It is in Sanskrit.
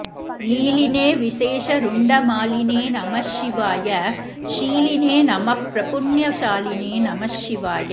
लीलिने विशेषरुण्डमालिने नमः शिवाय शीलिने नमः प्रपुण्यशालिने नमः शिवाय